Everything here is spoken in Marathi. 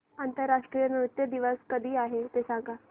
आंतरराष्ट्रीय नृत्य दिवस कधी आहे ते सांग